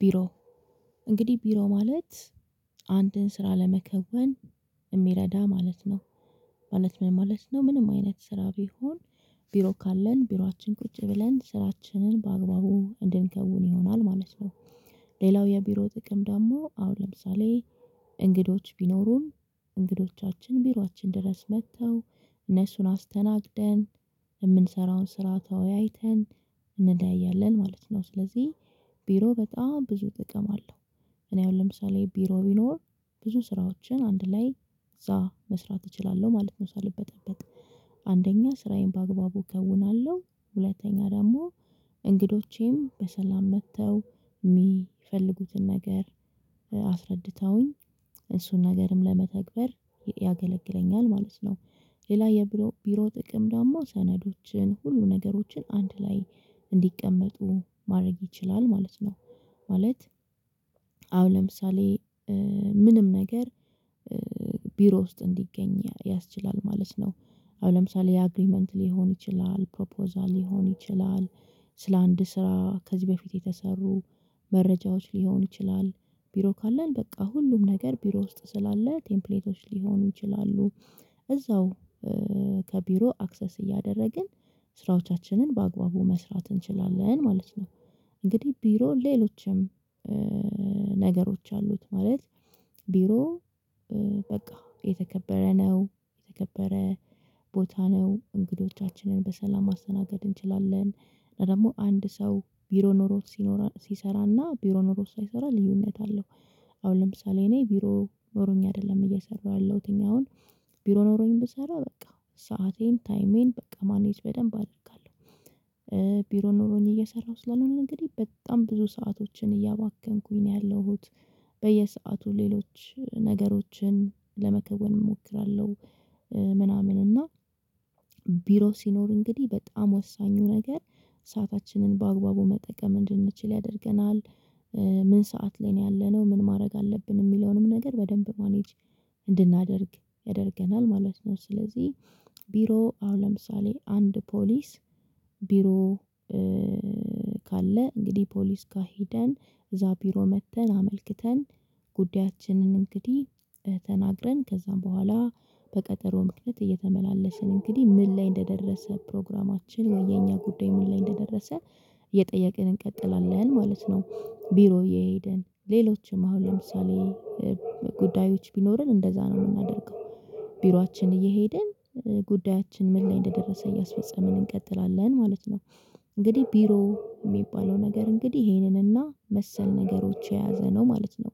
ቢሮ እንግዲህ ቢሮ ማለት አንድን ስራ ለመከወን እሚረዳ ማለት ነው። ማለት ምን ማለት ነው ምንም አይነት ስራ ቢሆን ቢሮ ካለን ቢሮአችን ቁጭ ብለን ስራችንን በአግባቡ እንድንከውን ይሆናል ማለት ነው። ሌላው የቢሮ ጥቅም ደግሞ አሁን ለምሳሌ እንግዶች ቢኖሩን እንግዶቻችን ቢሮአችን ድረስ መጥተው እነሱን አስተናግደን እምንሰራውን ስራ ተወያይተን እንደያያለን ማለት ነው ስለዚህ ቢሮ በጣም ብዙ ጥቅም አለው። እኔ አሁን ለምሳሌ ቢሮ ቢኖር ብዙ ስራዎችን አንድ ላይ እዛ መስራት እችላለሁ ማለት ነው ሳልበጠበጥ አንደኛ ስራዬን በአግባቡ እከውናለሁ ሁለተኛ ደግሞ እንግዶቼም በሰላም መጥተው እሚፈልጉትን ነገር አስረድተውኝ እሱን ነገርም ለመተግበር ያገለግለኛል ማለት ነው። ሌላ የቢሮ ጥቅም ደግሞ ሰነዶችን ሁሉ ነገሮችን አንድ ላይ እንዲቀመጡ ማረግ ይችላል ማለት ነው። ማለት አሁን ለምሳሌ ምንም ነገር ቢሮ ውስጥ እንዲገኝ ያስችላል ማለት ነው። አሁን ለምሳሌ ያ አግሪመንት ሊሆን ይችላል ፕሮፖዛል ሊሆን ይችላል ስለ አንድ ስራ ከዚህ በፊት የተሰሩ መረጃዎች ሊሆን ይችላል ቢሮ ካለን በቃ ሁሉም ነገር ቢሮ ውስጥ ስላለ ቴምፕሌቶች ሊሆኑ ይችላሉ። እዛው ከቢሮ አክሰስ እያደረግን ስራዎቻችንን በአግባቡ መስራት እንችላለን ማለት ነው። እንግዲህ ቢሮ ሌሎችም ነገሮች አሉት ማለት ቢሮ በቃ የተከበረ ነው የተከበረ ቦታ ነው እንግዶቻችንን በሰላም ማስተናገድ እንችላለን። ሌላ ደግሞ አንድ ሰው ቢሮ ኖሮት ሲኖራል ሲሰራና ቢሮ ኖሮት ሳይሰራ ልዩነት አለው። አሁን ለምሳሌ እኔ ቢሮ ኖሮኝ አይደለም እየሰራሁ ያለሁት አሁን ቢሮ ኖሮኝ ብሰራ በቃ ሰአቴን ታይሜን በቃ ማኔጅ በደንብ አደርጋለሁ። ቢሮ ኖሮኝ እየሰራሁ ስላልሆነ እንግዲህ በጣም ብዙ ሰአቶችን እያባከንኩኝ ነው ያለሁት በየሰአቱ ሌሎች ነገሮችን ለመከወን እሞክራለሁ። ምናምን እና ቢሮ ሲኖር እንግዲህ በጣም ወሳኙ ነገር ሰአታችንን በአግባቡ መጠቀም እንድንችል ያደርገናል። ምን ሰዓት ላይ ነው ያለነው ምን ማድረግ አለብን እሚለውንም ነገር በደንብ ማኔጅ እንድናደርግ ያደርገናል ማለት ነው። ስለዚህ ቢሮ አሁን ለምሳሌ አንድ ፖሊስ ቢሮ ካለ እንግዲህ ፖሊስ ጋ ሄደን እዛ ቢሮ መጥተን አመልክተን ጉዳያችንንም እንግዲህ ተናግረን ከዛም ቡሃላ በቀጠሮ ምክንያት እየተመላለስን እንግዲህ ምን ላይ እንደደረሰ ፕሮግራማችን ወይ የኛ ጉዳይ ምን ላይ እንደደረሰ እየጠየቅን እንቀጥላለን ማለት ነው። ቢሮ እየሄድን ሌሎችም አሁን ለምሳሌ ጉዳዮች ቢኖረን እንደዛ ነው ምናደርገው ቢሯችን እየሄድን ጉዳያችን ምን ላይ እንደ ደረሰ እያስፈጸምን እንቀጥላለን ማለት ነው። እንግዲህ ቢሮ እሚባለው ነገር እንግዲህ ይሄንንና መሰል ነገሮች የያዘ ነው ማለት ነው።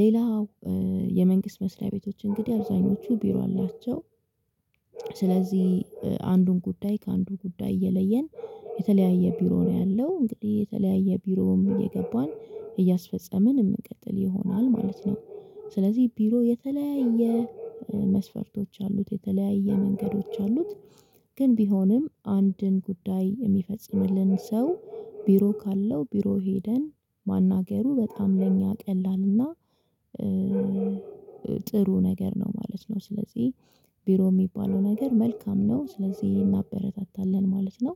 ሌላው የመንግስት መስሪያ ቤቶች እንግዲህ አብዛኞቹ ቢሮ አላቸው። ስለዚህ አንዱን ጉዳይ ከአንዱ ጉዳይ እየለየን የተለያየ ቢሮ ነው ያለው እንግዲህ የተለያየ ቢሮም እየገባን እያስፈጸምን የምንቀጥል ይሆናል ማለት ነው። ስለዚህ ቢሮ የተለያየ መስፈርቶች አሉት የተለያየ መንገዶች አሉት። ግን ቢሆንም አንድን ጉዳይ የሚፈጽምልን ሰው ቢሮ ካለው ቢሮ ሄደን ማናገሩ በጣም ለእኛ ቀላል እና ጥሩ ነገር ነው ማለት ነው። ስለዚህ ቢሮ እሚባለው ነገር መልካም ነው ስለዚህ እናበረታታለን ማለት ነው።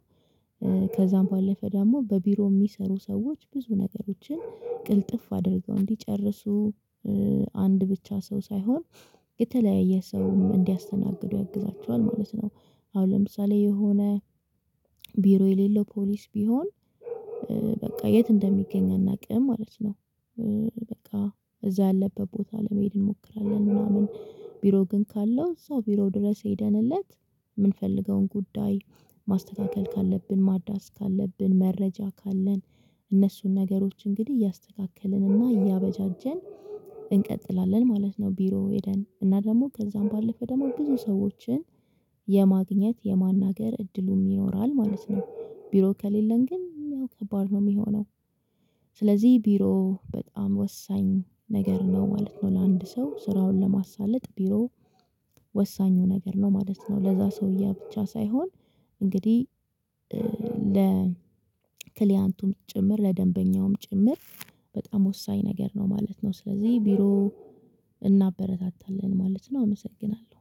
ከዛም ባለፈ ደሞ በቢሮ እሚሰሩ ሰዎች ብዙ ነገሮችን ቅልጥፍ አድርገው እንዲጨርሱ አንድ ብቻ ሰው ሳይሆን የተለያየ ሰውም እንዲያስተናግዱ ያግዛቸዋል ማለት ነው። አሁን ለምሳሌ የሆነ ቢሮ የሌለው ፖሊስ ቢሆን በቃ የት እንደሚገኝ አናቅም ማለት ነው። በቃ እዛ ያለበት ቦታ ለመሄድ እንሞክራለን ምናምን ቢሮ ግን ካለው እዛው ቢሮ ድረስ ሄደንለት እምንፈልገውን ጉዳይ ማስተካከል ካለብን ማደስ ካለብን መረጃ ካለን እነሱን ነገሮች እንግዲህ እያስተካከልንና እያበጃጀን እንቀጥላለን ማለት ነው። ቢሮ ሄደን እና ደሞ ከዛም ባለፈ ደሞ ብዙ ሰዎችን የማግኘት የማናገር እድሉም ይኖራል ማለት ነው። ቢሮ ከሌለን ግን ያው ከባድ ነው እሚሆነው ስለዚህ ቢሮ በጣም ወሳኝ ነገር ነው ማለት ነው። ለአንድ ሰው ስራውን ለማሳለጥ ቢሮ ወሳኙ ነገር ነው ማለት ነው። ለዛ ሰውዬ ብቻ ሳይሆን እንግዲህ ክሊያንቱም ጭምር ለደንበኛውም ጭምር በጣም ወሳኝ ነገር ነው ማለት ነው። ስለዚህ ቢሮ እናበረታታለን ማለት ነው። አመሰግናለሁ።